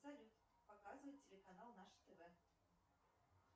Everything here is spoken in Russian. салют показывай телеканал наше тв